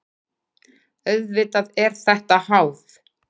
Auðvitað er þetta háð.